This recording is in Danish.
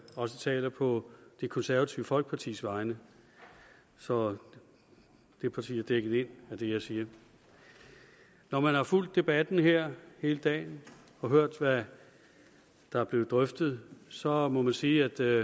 også taler på det konservative folkepartis vegne så det parti er dækket ind af det jeg siger når man har fulgt debatten her hele dagen og hørt hvad der er blevet drøftet så må man sige at der